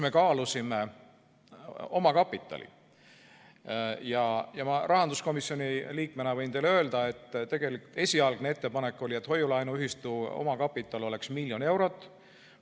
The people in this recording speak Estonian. Me kaalusime omakapitali suurust ja rahanduskomisjoni liikmena võin teile öelda, et esialgne ettepanek oli, et hoiu-laenuühistu omakapital oleks 1 miljon eurot.